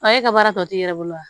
e ka baara tɔ ti i yɛrɛ bolo wa